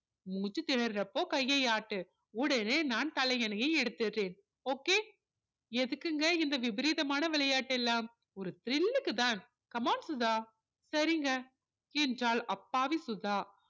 மூச்சுத் திணர்றப்போ கையை ஆட்டு உடனே நான் தலையணையை எடுத்திடுறேன் okay எதுக்குங்க இந்த விபரீதமான விளையாட்டு எல்லாம் ஒரு thrill க்கு தான் come on சுதா சரிங்க என்றாள் அப்பாவி சுதா